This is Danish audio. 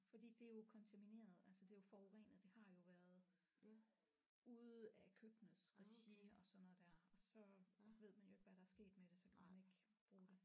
Fordi det er jo kontamineret altså det er jo forurenet det har jo været ude af køkkenets regi og sådan noget der og så ved man jo ikke hvad der er sket med så kan man ikke bruge det